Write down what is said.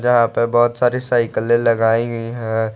यहां पे बहुत सारी साइकले लगाई गई है।